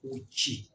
K'u ci